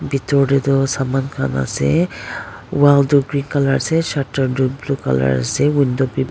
bithor tae toh saman khan ase wall toh green colour ase shutter tu blue colour ase window bi.